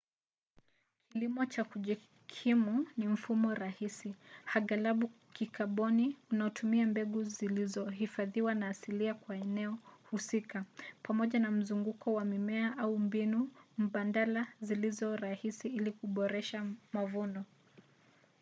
kilimo cha kujikimu ni mfumo rahisi aghalabu wa kikaboni unaotumia mbegu zilizohifadhiwa na asilia kwa eneo husika pamoja na mzunguko wa mimea au mbinu mbadala zilizo rahisi ili kuboresha mavuno